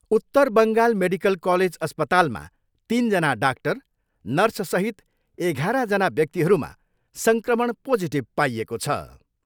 उत्तर Bengal medical college अस्पतालमा तिनजना डाक्टर, नर्ससहित एघारजना व्यक्तिहरूमा सङ्क्रमण पोजिटिभ पाइएको छ।